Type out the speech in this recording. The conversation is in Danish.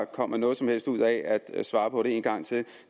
kommer noget som helst ud af at svare på det en gang til